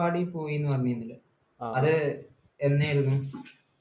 പോയിരുന്നുവെന്ന് പറഞ്ഞിരുന്നു. അത് എന്നായിരുന്നു?